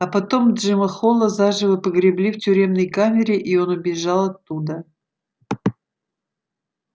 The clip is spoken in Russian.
а потом джима холла заживо погребли в тюремной камере и он убежал оттуда